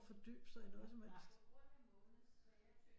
At fordybe sig i noget som helst